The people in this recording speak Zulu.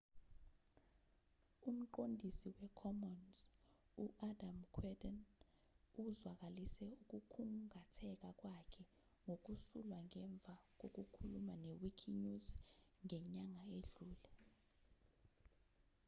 umqondisi wecommons u-adam cuerden uzwakalise ukukhungatheka kwakhe ngokusulwa ngemva kokukhuluma ne-wikinews ngenyanga edlule